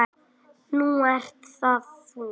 Nú ert það þú.